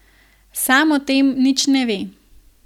Sam o tem nič ne ve.